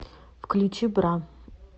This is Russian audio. включи бра